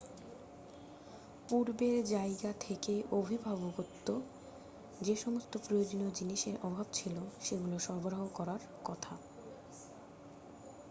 পূর্বের জায়গা থেকে অভিভাবকত্ব যে সমস্ত প্রয়োজনীয় জিনিসের অভাব ছিল সেগুলো সরবরাহ করার কথা